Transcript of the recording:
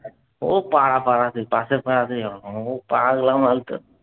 ও পাড়া পাড়াতে, পাশের পাড়াতে ও পাগলা মাল তো।